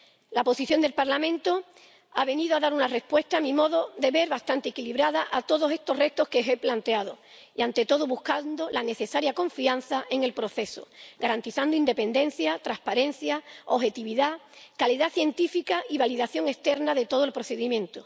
La posición del Parlamento ha venido a dar una respuesta, a mi modo de ver bastante equilibrada, a todos estos retos que he planteado y, ante todo, buscando la necesaria confianza en el proceso, garantizando independencia, transparencia, objetividad, calidad científica y validación externa de todo el procedimiento.